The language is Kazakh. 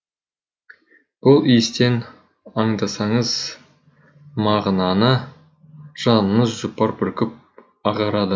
бұл иістен аңдасаңыз мағынаны жаныңыз жұпар бүркіп ағарады